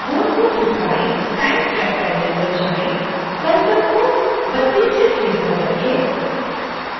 time track panel पर जाएँ और cursor को 32